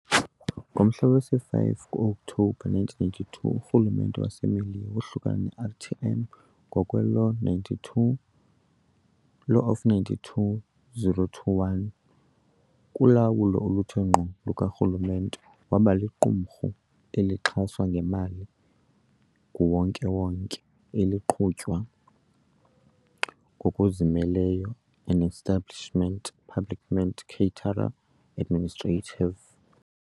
Ngomhla wesi-5 ku-Okthobha 1992, urhulumente waseMaliya wahlukana ne-RTM ngokwe-Law 92 Law 92-021, kulawulo oluthe ngqo lukarhulumente, waba liqumrhu elixhaswa ngemali nguwonke-wonke, eliqhutywa ngokuzimeleyo an "Établissement Public à Caractère Administratif.